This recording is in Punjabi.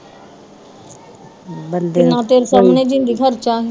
ਕਿੰਨਾ ਤੇਰੇ ਸਾਮਣੇ ਦਿੰਦੀ ਖਰਚਾ